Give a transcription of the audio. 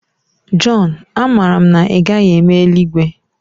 John, amara m na ị gaghị eme eluigwe